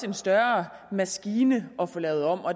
en større maskine at få lavet om